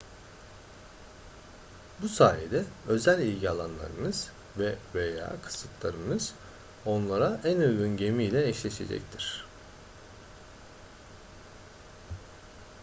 bu sayede özel ilgi alanlarınız ve/veya kısıtlarınız onlara en uygun gemiyle eşleşecektir